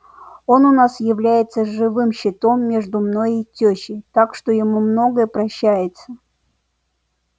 он у нас является живым щитом между мною и тёщей так что ему многое прощается